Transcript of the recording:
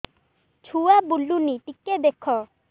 ଛୁଆ ବୁଲୁନି ଟିକେ ଦେଖ